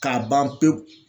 K'a ban pewu